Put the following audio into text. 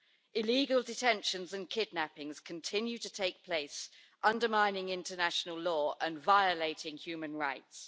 Illegal detentions and kidnappings continue to take place, undermining international law and violating human rights.